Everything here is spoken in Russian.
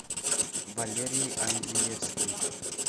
валерий андриевский